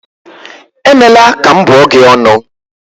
Emela ka m bụọ gị ọnụ